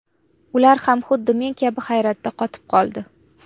Ular ham xuddi men kabi hayratdan qotib qoldi.